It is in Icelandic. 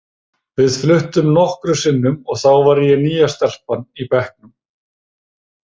Við fluttum nokkrum sinnum og þá var ég nýja stelpan í bekknum.